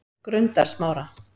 Grundarsmára